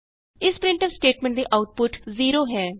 ਇਸ printf statement ਦੀ output 0 ਹੈ